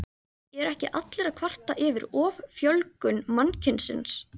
Eru ekki allir að kvarta yfir offjölgun mannkynsins?